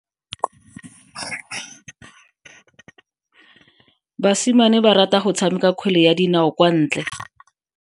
Basimane ba rata go tshameka kgwele ya dinao kwa ntle.